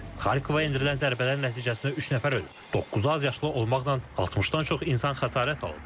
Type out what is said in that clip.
Xarkova endirilən zərbələrin nəticəsində üç nəfər ölüb, doqquzu azyaşlı olmaqla, 60-dan çox insan xəsarət alıb.